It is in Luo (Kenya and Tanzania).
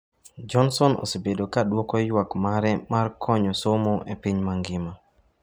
Johnson osebedo ka duoko ywak mare mar konyo somo e piny mangima.